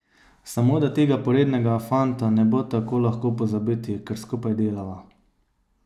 Samo da tega porednega fanta ne bo tako lahko pozabiti, ker skupaj delava.